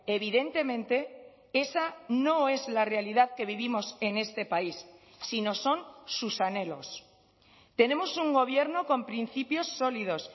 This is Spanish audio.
evidentemente esa no es la realidad que vivimos en este país si no son sus anhelos tenemos un gobierno con principios sólidos